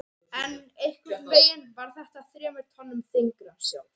En einhvernveginn var þetta þremur tonnum þyngra- sjálf